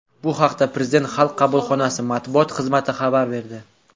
Bu haqda Prezident xalq qabulxonasi matbuot xizmati xabar berdi.